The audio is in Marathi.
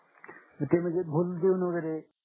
तर ते म्णजे भूल देऊन वैगेरे